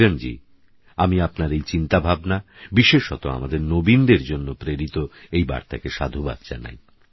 কিরণজী আমিআপনারএইচিন্তাভাবনাবিশেষতআমাদেরনবীনদেরজন্যপ্রেরিতএইবার্তাকেসাধুবাদজানাই